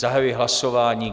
Zahajuji hlasování.